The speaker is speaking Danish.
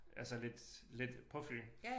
Altså lidt lidt på Fyn